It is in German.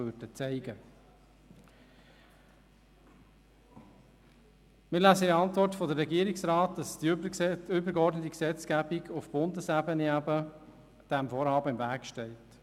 Wir lesen in der Antwort des Regierungsrats, dass die übergeordnete Bundesgesetzgebung dem Vorhaben im Weg steht.